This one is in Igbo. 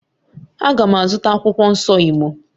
A ga m azụta akwụkwọ nsọ Igbo